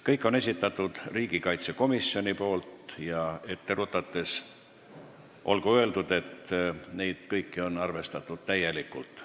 Kõik on riigikaitsekomisjoni esitatud ja ette rutates olgu öeldud, et neid kõiki on arvestatud täielikult.